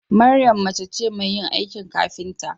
Mariam mace ce Mai yin aikin kafinta